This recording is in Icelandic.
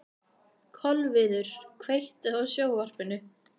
Kolviður, kveiktu á sjónvarpinu.